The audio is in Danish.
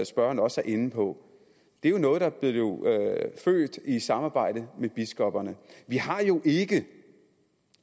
spørgeren også er inde på det er jo noget der blev født i samarbejde med biskopperne vi har jo ikke